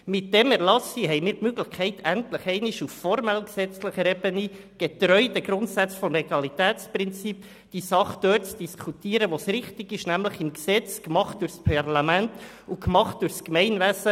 Mit diesem Erlass haben wir die Möglichkeit, endlich auf formell-gesetzlicher Ebene, getreu den Grundsätzen des Legalitätsprinzips, die Sache an der richtigen Stelle zu diskutieren, nämlich im Rahmen des Gesetzes, gemacht durch das Parlament und das Gemeinwesen.